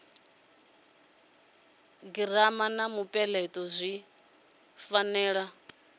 girama na mupeleto zwi fanela